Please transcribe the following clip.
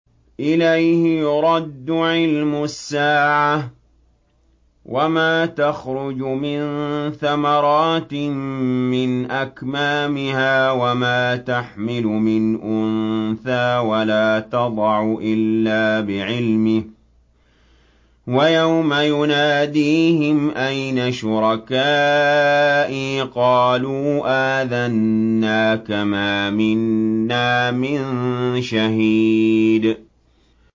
۞ إِلَيْهِ يُرَدُّ عِلْمُ السَّاعَةِ ۚ وَمَا تَخْرُجُ مِن ثَمَرَاتٍ مِّنْ أَكْمَامِهَا وَمَا تَحْمِلُ مِنْ أُنثَىٰ وَلَا تَضَعُ إِلَّا بِعِلْمِهِ ۚ وَيَوْمَ يُنَادِيهِمْ أَيْنَ شُرَكَائِي قَالُوا آذَنَّاكَ مَا مِنَّا مِن شَهِيدٍ